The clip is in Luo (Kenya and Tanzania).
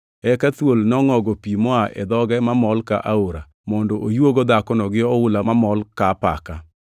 Eka thuol nongʼogo pi moa e dhoge mamol ka aora mondo oyuogo dhakono gi oula mamol ka apaka.